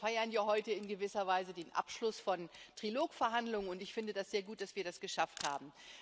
Wir feiern ja heute in gewisser Weise den Abschluss von Trilog Verhandlungen, und ich finde das sehr gut, dass wir das geschafft haben.